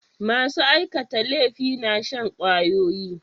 Masu aikata laifi na shan ƙwayoyi.